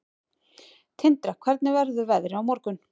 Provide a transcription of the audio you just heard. Tindra, hvernig verður veðrið á morgun?